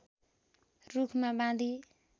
रूखमा बाँधी